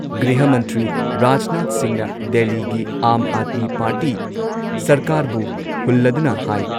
ꯒ꯭ꯔꯤꯍ ꯃꯟꯇ꯭ꯔꯤ ꯔꯥꯖꯅꯥꯊ ꯁꯤꯡꯍꯅ ꯗꯦꯜꯂꯤꯒꯤ ꯑꯥꯝ ꯑꯥꯗꯃꯤ ꯄꯥꯔꯇꯤ ꯁꯔꯀꯥꯔꯕꯨ ꯍꯨꯜꯂꯗꯨꯅ ꯍꯥꯏ